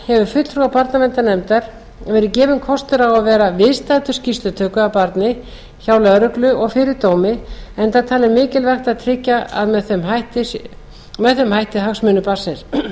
verið gefinn kostur á að vera viðstaddur skýrslutöku af barni hjá lögreglu og fyrir dómi enda talið mikilvægt að tryggja með þeim hætti hagsmuni barnsins